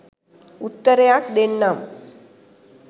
උත්තරයක් දෙන්නම්.